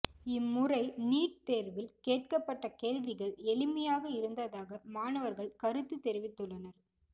இம்முறை நீட் தேர்வில் கேட்கப் பட்ட கேள்விகள் எளிமையாக இருந்ததாக மாணவர்கள் கருத்துத் தெரிவித்துள்ளனர்